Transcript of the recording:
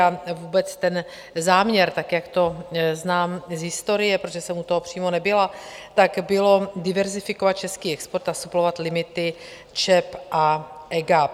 A vůbec ten záměr, tak jak to znám z historie, protože jsem u toho přímo nebyla, tak bylo diverzifikovat český export a suplovat limity ČEB a EGAP.